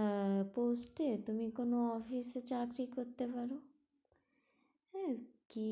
আহ post এ তুমি কোনো office এ চাকরি করতে পারো হ্যাঁ কী